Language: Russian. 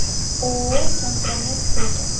ооо центромед фото